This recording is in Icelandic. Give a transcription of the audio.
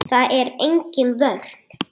Það er engin vörn.